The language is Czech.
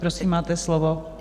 Prosím, máte slovo.